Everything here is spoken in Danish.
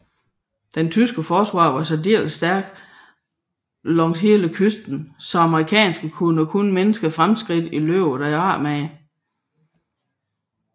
Det tyske forsvar var særdeles stærkt langs hele kysten så amerikanerne gjorde kun mindre fremskridt i løbet af eftermiddagen